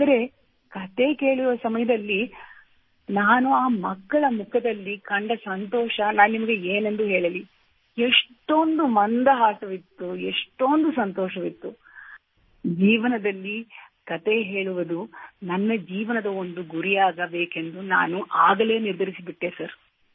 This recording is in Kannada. ಆದರೆ ಕತೆ ಕೇಳುವ ಸಮಯದಲ್ಲಿ ನಾನು ಆ ಮಕ್ಕಳ ಮುಖದಲ್ಲಿ ಕಂಡ ಸಂತೋಷ ನಾನು ನಿಮಗೆ ಏನೆಂದು ಹೇಳಲಿ ಎಷ್ಟೊಂದು ಮಂದಹಾಸವಿತ್ತು ಎಷ್ಟೊಂದು ಸಂತೋಷವಿತ್ತು ನನ್ನ ಜೀವನದಲ್ಲಿ ಕತೆ ಹೇಳುವುದು ಸ್ಟೋರಿಟೆಲಿಂಗ್ ನನ್ನ ಜೀವನದ ಒಂದು ಗುರಿಯಾಗಬೇಕೆಂದು ನಾನು ಆಗಲೇ ನಿರ್ಧರಿಸಿಬಿಟ್ಟೆ ಸರ್